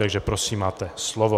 Takže prosím máte slovo.